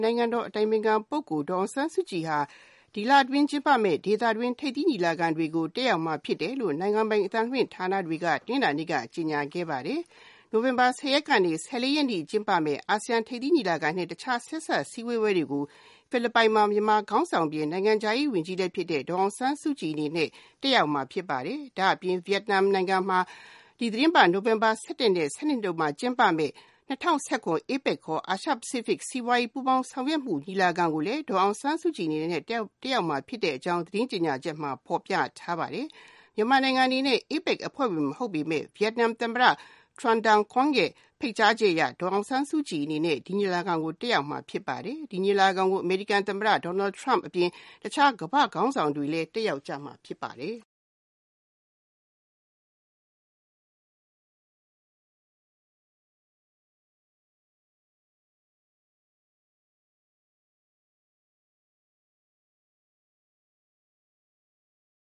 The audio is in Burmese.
နိုင်ငံတော်အတိုင်ပင်ခံပုဂ္ဂိုလ် ဒေါ်အောင်ဆန်းစုကြည်ဟာ ဒီလအတွင်းကျင်းပမယ့် ဒေသတွင်းထိပ်သီးညီလာခံတွေကို တက်ရောက်မှာဖြစ်တယ်လို့ နိုင်ငံပိုင်အသံလွှင့်ဌာနတွေက တနင်္လာနေ့မှာ ကြေညာခဲ့ပါတယ်။ နိုဝင်ဘာ ၁၃ ရက်ကနေ ၁၇ ရက်နေ့ကျင်းပမယ့် ၃၁ ကြိမ်မြောက်အာဆီယံထိပ်သီးညီလာခံ နဲ့ တခြားဆက်စပ်ဆွေးနွေးပွဲတွေကို ဖိလစ်ပိုင်မှာ မြန်မာခေါင်းဆောင်အပြင် နိုင်ငံခြားရေးဝန်ကြီးလည်းဖြစ်တဲ့ ဒေါ်အောင်ဆန်းစုကြည်တက်ရောက်မှာ ဖြစ်ပါတယ်။ ဒါ့အပြင် ဗီယက်နမ်နိုင်ငံမှာ ဒီသီတင်းပတ် နိုဝင်ဘာ ၁၁ ရက်နဲ့ ၁၂ တို့မှာ ၂၀၁၇ APEC အာရှဖိစိဖိတ်စီးပွါးရေးပူးပေါင်းဆောင်ရွက်မှု ထိပ်သီးညီလာခံကိုလည်း ဒေါ်အောင်ဆန်းစုကြည်တက်ရောက်မှာ ဖြစ်တဲ့အကြောင်း သီတင်းကြေညာချက်မှာ ဖော်ပြထားပါတယ်။ မြန်မာနိုင်ငံအနေနဲ့ APEC အဖွဲ့ဝင်နိုင်ငံ မဟုတ်ပေမယ့် ဗီယက်နမ် သမ္မတ Tran Dai Quang ရဲ့ ဖိတ်ကြားချက်အရ ဒေါ်အောင်ဆန်းစုကြည်အနေနဲ့ ဒီညီလာခံကို တက်ရောက်မှာ ဖြစ်ပါတယ်။ ဒီညီလာခံကို အမေရိကန်သမ္မတ Donald Trump အပြင် တခြားကမ္ဘာ့ခေါင်းဆောင်တွေလည်း တက်ရောက်ကြမှာ ဖြစ်ပါတယ်။